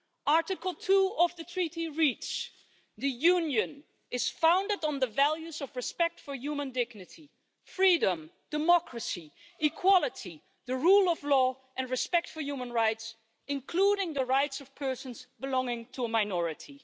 Article 2 of the Treaty on European Union reads the Union is founded on the values of respect for human dignity, freedom, democracy, equality, the rule of law and respect for human rights, including the rights of persons belonging to a minority'.